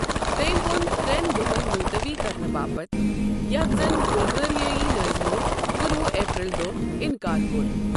تٔمۍ ووٚن ترٛیٚن دۄہَن ملطوی كرنہٕ باپت ، یتھ زن بلغٲرِیٲیی نٲضمو کُنہ وُہ اپریل دوہ اِنٛکار کوٚر۔